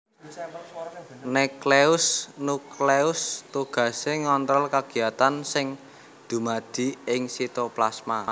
NukleusNukleus tugasé ngontrol kagiyatan sing dumadi ing sitoplasma